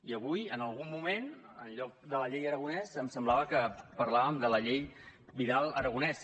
i avui en algun moment en lloc de la llei aragonès em semblava que parlàvem de la llei vidal aragonés